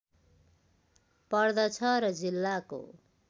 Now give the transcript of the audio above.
पर्दछ र जिल्लाको